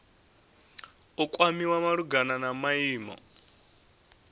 u kwamiwa malugana na maimo